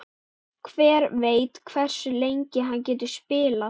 Hver veit hversu lengi hann getur spilað?